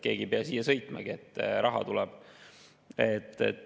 Keegi ei pea siia sõitmagi, aga raha tuleb.